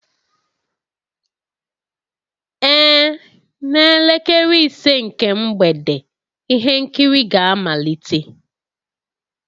Ee, n'elekere ise nke mgbede ihe nkiri ga-amalite